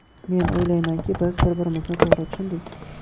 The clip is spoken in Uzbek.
Men o‘ylaymanki, biz bir-birimizni to‘g‘ri tushundik.